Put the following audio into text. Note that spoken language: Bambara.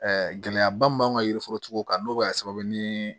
gɛlɛyaba mun b'an ka yiri forotigiw kan n'o bɛ kɛ sababu ye ni